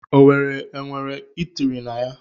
Owerri enwere itiri na ya?